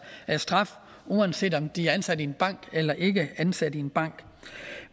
straf uanset om de er ansat i en bank eller de ikke er ansat i en bank